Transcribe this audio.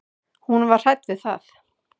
Og hún var hrædd við það.